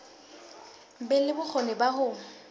be le bokgoni ba ho